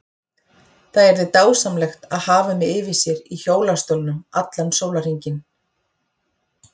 Það yrði dásamlegt að hafa mig yfir sér í hjólastólnum allan sólarhringinn.